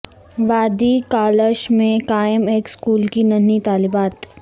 وادی کالاش میں قائم ایک سکول کی ننھی طالبات